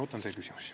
Ootan teie küsimusi.